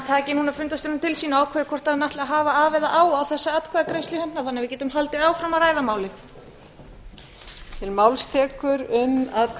taki núna fundarstjórnina til sína og ákveði hvort hann ætli að hafa af eða á með þessa atkvæðagreiðslu hérna þannig að við getum haldið áfram að ræða málin